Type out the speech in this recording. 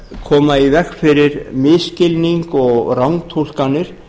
koma í veg fyrir misskilning og rangtúlkanir